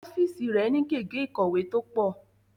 Ọ́fíìsì rẹ̀ ni gègé ìkọ̀wé tó pọ̀